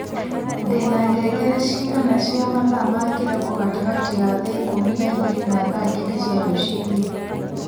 ndĩ na ngengere ciigana cia mathaa ma kĩroko gatagatĩ ka thaa ikũmi na igĩrĩ na thaa kenda cia rũciini